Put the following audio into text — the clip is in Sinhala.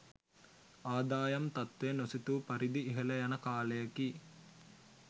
ආදායම් තත්ත්වය නොසිතූ පරිදි ඉහළ යන කාලයකි.